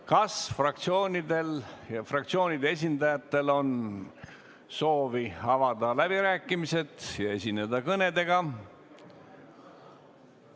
Kas fraktsioonide esindajatel on soovi avada läbirääkimised ja esineda kõnedega?